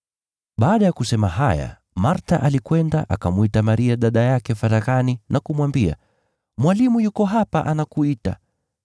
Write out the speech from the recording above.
Baada ya kusema haya Martha alikwenda, akamwita Maria dada yake faraghani na kumwambia, “Mwalimu yuko hapa anakuita.”